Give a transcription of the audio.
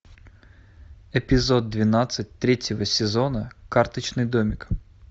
эпизод двенадцать третьего сезона карточный домик